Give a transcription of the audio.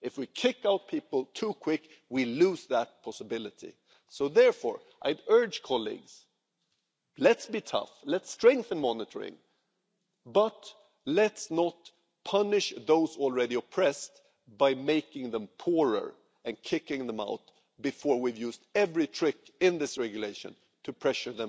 If we kick people out too quickly we lose that possibility. Therefore, I urge my colleagues, let's be tough, let's strengthen monitoring, but let's not punish those already oppressed by making them poorer and kicking them out before we've used every trick in this regulation to pressure